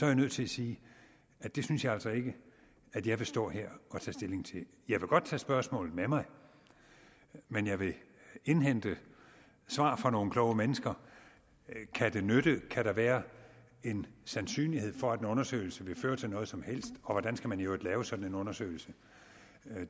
jeg nødt til at sige at det synes jeg altså ikke at jeg vil stå her og tage stilling til jeg vil godt tage spørgsmålet med mig men jeg vil indhente svar fra nogle kloge mennesker kan der være en sandsynlighed for at en undersøgelse vil føre til noget som helst og hvordan skal man i øvrigt lave sådan en undersøgelse